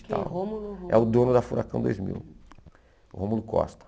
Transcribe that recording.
Tal. Que Rômulo. É o dono da Furacão Dois Mil, o Rômulo Costa.